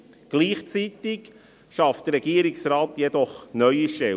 Gleichzeitig schafft der Regierungsrat jedoch neue Stellen.